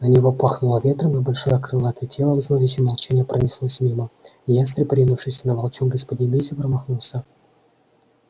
на него пахнуло ветром и большое крылатое тело в зловещем молчании пронеслось мимо ястреб ринувшийся на волчонка из поднебесья промахнулся